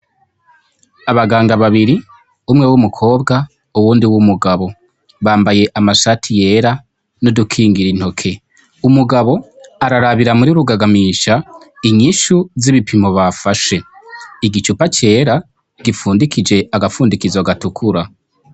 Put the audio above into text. Abaganga babiri umwe w'umukobwa, uwundi w'umugabo. Bambaye amashati yera, n'udukongora intoki, umugabo ararabira muri rugagamisha, inyishu z'ibipimo bafashe, igicupa cera gifundikije agapfundikizo gatukura